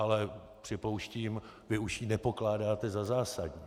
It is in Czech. Ale připouštím, vy už ji nepokládáte za zásadní.